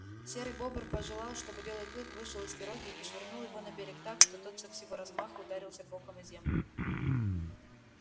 серый бобр пожелал чтобы белый клык вышел из пироги и швырнул его на берег так что тот со всего размаху ударился боком о землю